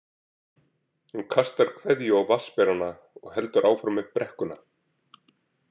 Hún kastar kveðju á vatnsberana og heldur áfram upp brekkuna.